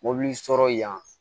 Mɔbili sɔrɔ yan